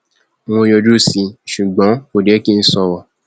mo yọjú sí i ṣùgbọn kò jẹ kí n sọrọ o